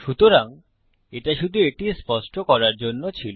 সুতরাং এটা শুধু এটি স্পষ্ট করার জন্য ছিল